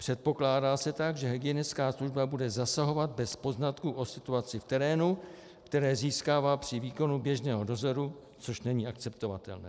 Předpokládá se tak, že hygienická služba bude zasahovat bez poznatků o situaci v terénu, které získává při výkonu běžného dozoru, což není akceptovatelné.